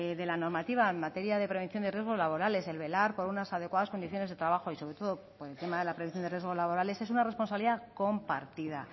de la normativa en materia de prevención de riesgos laborales el velar por unas adecuadas condiciones de trabajo y sobre todo por encima de la prevención de riesgos laborales es una responsabilidad compartida